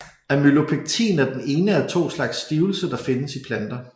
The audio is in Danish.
Amylopektin er den ene af to slags stivelse der findes i planter